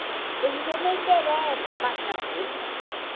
Hoje ele dizia, nem interessa bate não, ele não.